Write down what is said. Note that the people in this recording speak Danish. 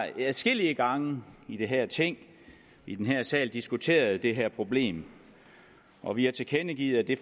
adskillige gange i det her ting i den her sal diskuteret det her problem og vi har tilkendegivet at det